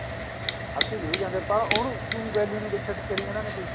hockey ਜਾਂਦੀ ਏ ਪਰ ਉਹਨੂੰ ਉਹ ਕਰੀ ਜਾਂਦੇ ਨੇ ਕੋਈ